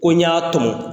Ko n y'a tɔmɔ